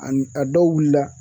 Ani a dɔw wiila